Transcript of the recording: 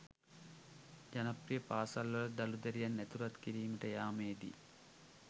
ජනප්‍රිය පාසල්වලට දරු දැරියන් ඇතුළත් කිරීමට යාමේදී